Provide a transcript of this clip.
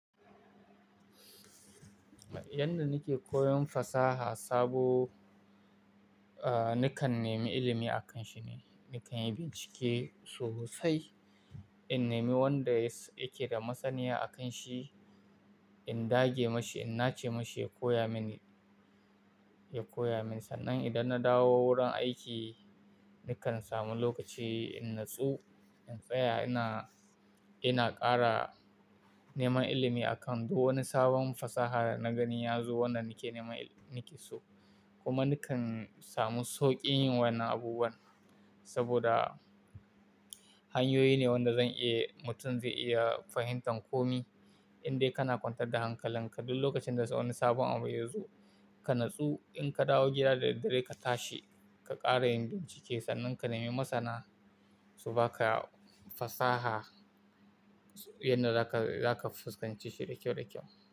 Yanda nake koyon fasaha sabo, ah nakan nemi ilimi a kan shi ne, nakan yi bincike sosai. In nemi wanda yake da masaniya a kan shi, in dage mashi, in nace mashi ya koya mini, ya koya min. Sannan idan na dawo wurin aiki, nakan samu lokaci in natsu, in tsaya ina, ina kara neman ilimi a kan duk wani sabon fasaha na gani ya zo wanda nake neman ilimi nake so. Kuma nakan samu sauƙin yin wannan abubuwan saboda hanyoyi ne wanda zan iya mutum zai iya fahimtan ko me. Indai kana kwantar da hankalin ka duk lokacin da wani sabon abu ya zo, ka natsu in ka dawo gida da dare ka tashi, ka kara yin bincike sannan ka nemi masana su baka fasaha yanda zaka, zaka fuskance shi da kyau da kyau.